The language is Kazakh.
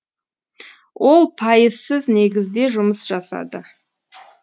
ол пайызсыз негізде жұмыс жасады